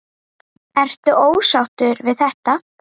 Ertu ósáttur við þetta?